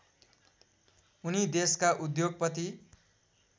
उनी देशका उद्योगपति